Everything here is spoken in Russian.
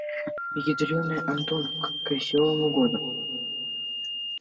ядрёная антоновка к весёлому году